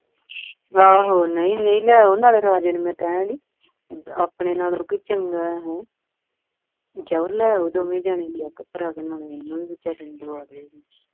ਰਾ ਓ ਨਹੀਂ ਨਹੀਂ ਲੈ ਆਓ ਨਾਲੇ ਰਾਜੇ ਨੂੰ ਮੈਂ ਕਹਿਣ ਡਈ ਆਪਣੇ ਨਾਲੋਂ ਕਿਤੇ ਚੰਗਾ ਹੈ ਉਹ ਜਾਓ ਲੈ ਆਉ ਦੋਵੇਂ ਜਾਣੇ ਜਾ ਕੇ ਨਾਲ ਵਿਚਾਰੇ ਨੂੰ ਵੀ ਦਬਾ ਦਿਓ